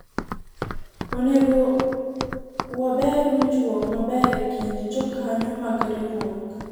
onego waber winjruok maber ekind jokanyo mag riwruok